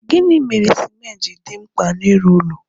Gịnị mere cimenti ji dị mkpa n'ịrụ ụlọ?